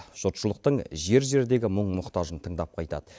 жұртшылықтың жер жердегі мұң мұқтажын тыңдап қайтады